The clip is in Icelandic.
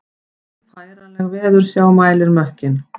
Færanleg veðursjá mælir mökkinn